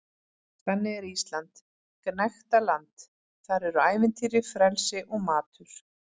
Þannig er Ísland gnægtaland- þar eru ævintýri, frelsi og matur.